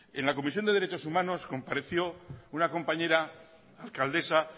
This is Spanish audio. en la comisión de derechos humanos compadeció una compañera alcaldesa